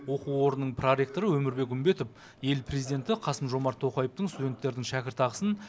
оқу орнының проректоры өмірбек үмбетов ел президенті қасым жомарт тоқаевтың студенттердің шәкіртақысын